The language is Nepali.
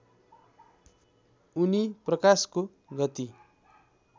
उनी प्रकाशको गति